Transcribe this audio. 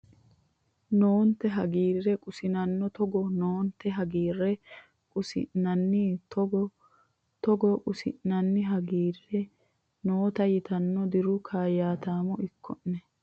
noonte hi hagiirre qussinanninna Togo noonte hi hagiirre qussinanninna Togo Togo qussinanninna hagiirre hi noonte yitanni Diru kaayyaataamo ikko ne !